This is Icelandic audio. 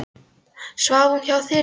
Svaf hún hjá þér í nótt?